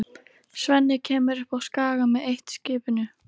Svenni kemur upp á Skaga með eitt-skipinu.